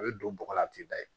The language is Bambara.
A bɛ don bɔgɔ la a tɛ da yen